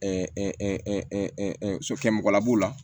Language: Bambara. so kɛmɔgɔlab'o la